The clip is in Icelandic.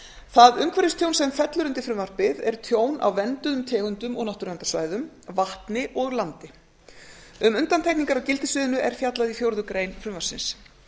það umhverfistjón sem fellur undir frumvarpið er tjón á vernduðum tegundum og náttúruverndarsvæðum vatni og landi um undantekningar á gildissviðinu er fjallað í fjórða grein frumvarpsins